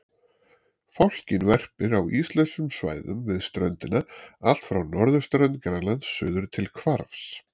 Fálkinn verpir á íslausum svæðum við ströndina allt frá norðurströnd Grænlands suður til Hvarfs.